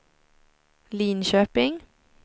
Linköping